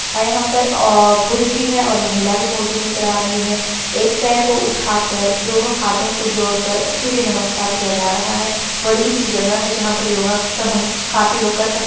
और यहां पर अ पुरुष भी है और महिला भी मौजूद नजर आ रही है एक पर को उठाकर दोनों हाथों को जोड़कर सूर्य नमस्कार किया जा रहा है बड़ी इसी जगह है। जहां पर योग का हम काफि लोग कर सक--